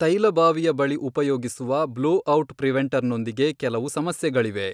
ತೈಲ ಬಾವಿಯ ಬಳಿ ಉಪಯೋಗಿಸುವ ಬ್ಲೊಔಟ್ ಪ್ರಿವೆಂಟರ್ ನೊಂದಿಗೆ ಕೆಲವು ಸಮಸ್ಯೆಗಳಿವೆ.